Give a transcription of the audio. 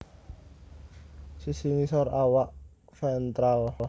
Sisi ngisor awak ventral